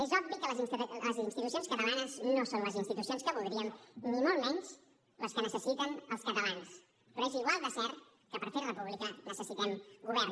és obvi que les institucions catalanes no són les institucions que voldríem ni molt menys les que necessiten els catalans però és igual de cert que per fer república necessitem govern